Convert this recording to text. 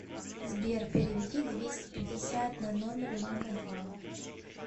сбер переведи двести пятьдесят на номер мама два